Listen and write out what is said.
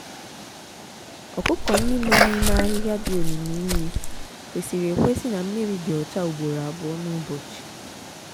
ọkụkọ ndị nọ n'ime ahịhịa dị omimi nri kwesịrị ekwesị na mmiri dị ọcha ugboro abụọ n'ụbọchị.